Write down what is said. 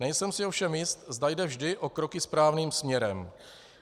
Nejsem si ovšem jist, zda jde vždy o kroky správným směrem.